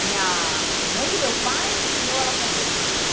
A minha mãe do meu pai ensinou ela a fazer essa esfirra.